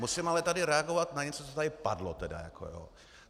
Musím ale tady reagovat na něco, co tu padlo.